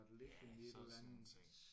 Ja så er der sådan nogle ting